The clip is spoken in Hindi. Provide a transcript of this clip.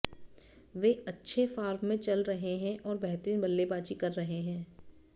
वे अच्छे फॉर्म में चल रहे हैं और बेहतरीन बल्लेबाजी कर रहे हैं